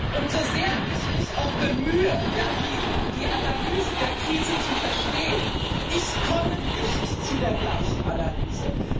Und so sehr ich mich auch bemühe, die Analyse der Krise zu verstehen ich komme nicht zu der gleichen Analyse.